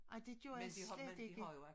Ej det gjorde jeg slet ikke